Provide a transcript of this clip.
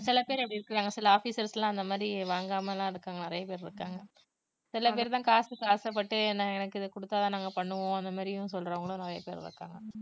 சில பேர் அப்படி இருக்கறாங்க சில officers லாம் அந்த மாதிரி வாங்காமலாம் இருக்காங்க நிறைய பேர் இருக்காங்க. சில பேர்தான் காசுக்கு ஆசைப்பட்டு என~ எனக்கு இத குடுத்தா தான் நாங்க இத பண்ணுவோம் அந்த மாதிரியும் சொல்றவங்களும் நிறைய பேர் இருக்காங்க